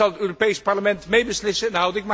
Zal het Europees Parlement mee beslissen?